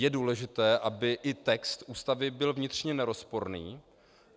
Je důležité, aby i text Ústavy byl vnitřně nerozporný.